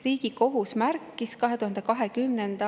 Riigikohus märkis 202.